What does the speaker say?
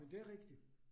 Men det rigtigt